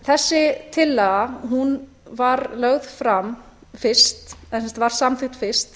þessi tillaga var lögð fram fyrst eða sem sagt var samþykkt fyrst